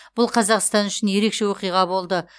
бұл қазақстан үшін ерекше оқиға болды